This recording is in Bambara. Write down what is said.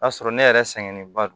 O y'a sɔrɔ ne yɛrɛ sɛgɛnnen ba don